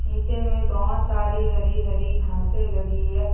नीचे मे बोहोत सारी हरी हरी घासे लगी है।